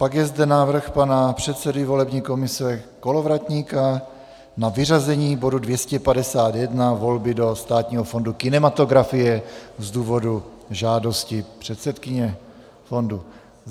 Pak je zde návrh pana předsedy volební komise Kolovratníka na vyřazení bodu 251, volby do Státního fondu kinematografie, z důvodu žádosti předsedkyně fondu.